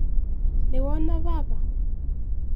Nĩwona baba.